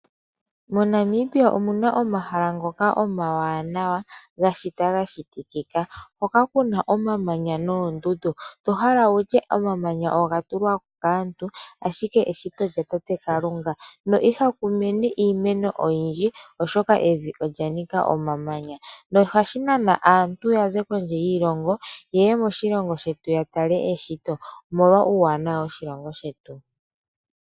Mo Namibia omuna omahala ngoka omawanawa, ga shitwa ga shitikika. Hoka kuna omamanya noondundu. To hala wutye, omamanya oga tulwapo kaantu, ashike eshito my tate, kalunga. Iha ku mene iimeno oyindji, oshoka evi olya nika omamanya, noha shi nana asntu ya za kondje yiilongo, yeye moshongo shetu ya tale eshito, omolwa uuwanawa wo shongo shetu.